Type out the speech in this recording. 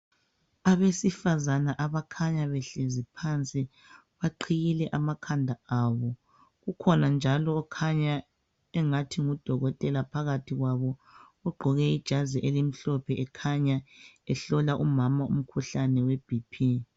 abesifazana abakhanya behlezi phansi baqhiyile amakhanda abo kukhona njalo okhanya engathi ngu dokotela phakathi kwabo ogqoke ijazi elimhlophe ekhanya ehlola umama umkhuhlane we BP